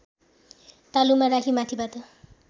तालुमा राखी माथिबाट